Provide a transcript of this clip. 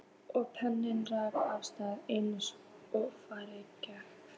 Og penninn rann af stað eins og fara gerir.